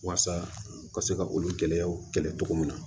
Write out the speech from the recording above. Waasa u ka se ka olu gɛlɛyaw kɛlɛ cogo min na